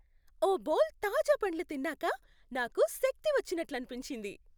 ఓ bowl తాజా పండ్లు తిన్నాక నాకు శక్తి వచ్చినట్లనిపించింది.